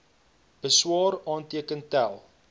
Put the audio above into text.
beswaar aanteken tel